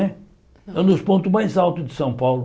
É é um dos pontos mais altos de São Paulo.